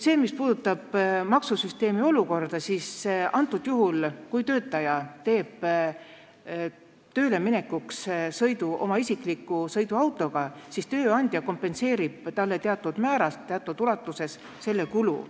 Mis puudutab maksusüsteemi olukorda, siis sel juhul, kui töötaja teeb tööle minekuks sõidu oma isikliku sõiduautoga, siis tööandja kompenseerib teatud ulatuses talle selle kulu.